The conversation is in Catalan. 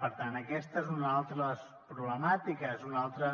per tant aquesta és una altra de les problemàtiques és un altre